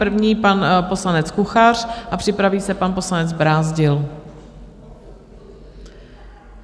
První pan poslanec Kuchař a připraví se pan poslanec Brázdil.